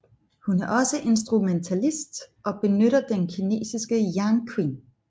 Hun er også instrumentalist og benytter den kinesiske Yangqin